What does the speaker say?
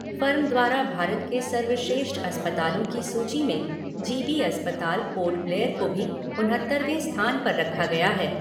Firm द्वारा भारत के सर्वश्रेष्ठ अस्पतालों की सूची में जी बी अस्पताल पोर्ट ब्लेयर को भी उनहत्तरवें स्थान पर रखा गया है।